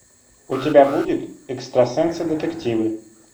у тебя будет экстрасенсы детективы